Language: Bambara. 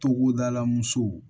Togodala musow